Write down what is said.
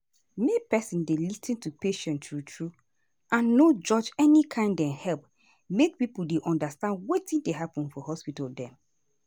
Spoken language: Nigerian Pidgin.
make peson dey lis ten to patient true true and no judge any kain dey help make pipo dey undastand wetin dey happen for hospital dem.